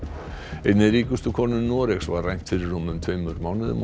einni ríkustu konu Noregs var rænt fyrir rúmum tveimur mánuðum og